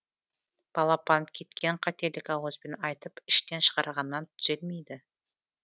балапан кеткен қателік ауызбен айтып іштен шығарғаннан түзелмейді